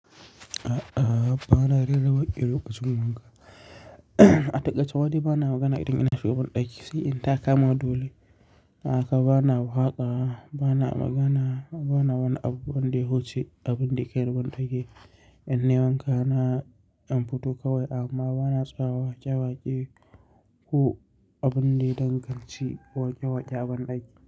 A'a, ba na rera wake lokacin wanka. A takaice ma dai ba na magana idan zan shiga banɗaki sai in ta kama dole. Haka bana waka, ba na magana, ba na wani abu banɗa ya wuce, abinɗa ya kaini banɗaki. In nayi wanka na dan fito kawai amma bana tsayawa waƙe-waƙe ko abunɗa ya danganci waƙe-waƙe a banɗaki.